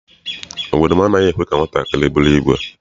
Obodo m anaghị ekwe ka nwatakịrị bụrụ ìgwè.